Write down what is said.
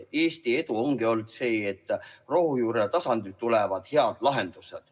Eesti edu ongi toonud see, et rohujuuretasandilt tulevad head lahendused.